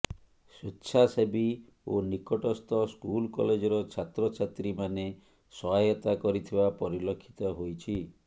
ସ୍ୱେଚ୍ଛାସେବୀ ଓ ନିକଟସ୍ଥ ସ୍କୁଲ କଲେଜ ର ଛାତ୍ର ଛାତ୍ରୀ ମାନେ ସହାୟତା କରିଥିବା ପରିଲକ୍ଷିତ ହୋଇଛି